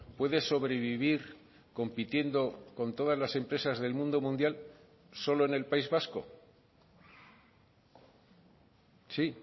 puede sobrevivir compitiendo con todas las empresas del mundo mundial solo en el país vasco sí